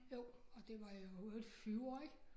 Jo og det var jo i øvrigt et fyord ik